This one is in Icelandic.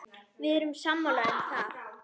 Við erum sammála um það.